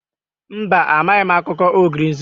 Mba, amaghị m akụkọ ogre nzuzu